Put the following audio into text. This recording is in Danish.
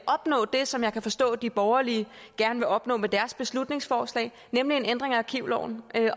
opnå det som jeg kan forstå de borgerlige gerne vil opnå med deres beslutningsforslag nemlig en ændring af arkivloven